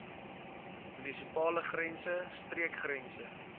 munisipale grense streekgrense